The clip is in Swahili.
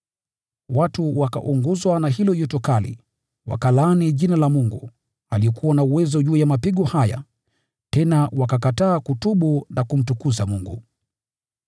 Watu wakaunguzwa na hilo joto kali, wakalaani Jina la Mungu, aliyekuwa na uwezo juu ya mapigo haya, tena wakakataa kutubu na kumtukuza Mungu.